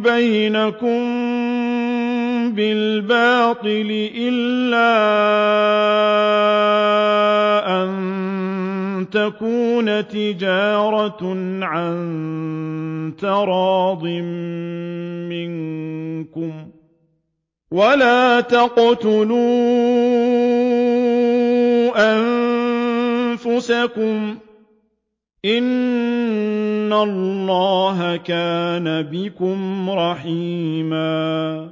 بَيْنَكُم بِالْبَاطِلِ إِلَّا أَن تَكُونَ تِجَارَةً عَن تَرَاضٍ مِّنكُمْ ۚ وَلَا تَقْتُلُوا أَنفُسَكُمْ ۚ إِنَّ اللَّهَ كَانَ بِكُمْ رَحِيمًا